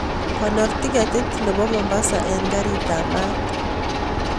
Konor tiketit nepo mombasa en karit ap maat